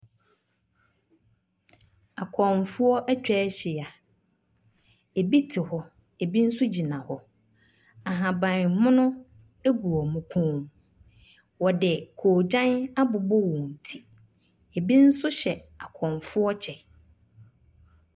Akɔmofoɔ atwa ahyia, bi te hɔ, bi nso gyina hɔ. ahabanmono gu wɔn kɔn mu, wɔde kɔɔgyan abobɔ wɔn ti. Bi nso hyɛ akɔmfoɔ kyɛ.